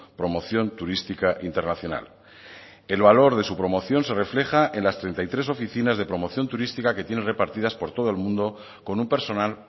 promoción turística internacional el valor de su promoción se refleja en las treinta y tres oficinas de promoción turística que tiene repartidas por todo el mundo con un personal